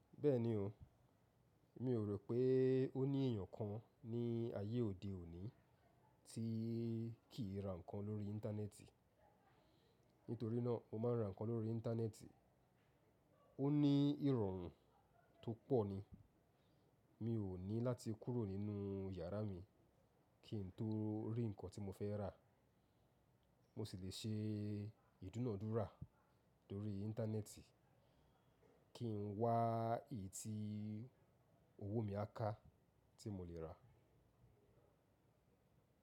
Bẹ́ẹ̀ni o, mi ò rò pé ó ní èèyàn kan ní ayé òde òní tí kì í ra nǹkan lórí Íńtánẹ́ẹ̀tì. Nítorí náà mo máa ń ra nǹkan lórí Íńtánẹ́ẹ̀tì. Ó ní ìrọ̀rùn tó pọ̀ ni. Mi ò ní láti kúrò nínú yàrá mi kí n tó rí nǹkan tí mo fẹ́ rà. Mo sì le ṣe ìdúnàádúrà lórí Íńtánẹ́ẹ̀tì kí n wá èyí tí owó mi á ká tí mo le ra.